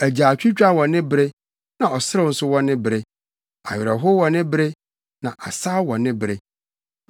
agyaadwotwa wɔ ne bere, na ɔserew nso wɔ ne bere, awerɛhow wɔ ne bere na asaw wɔ ne bere,